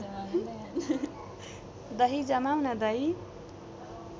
दही जमाउन दही